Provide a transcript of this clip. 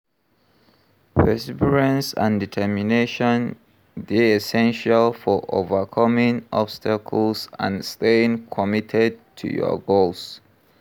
Perseverance and determination dey essential for overcoming obstacles and staying committed to your goals.